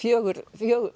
fjögur